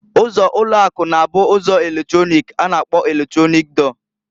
Ụzọ ulo aku, na abu ụzọ eletrọnịk a na-akpọ eletronik dọọ.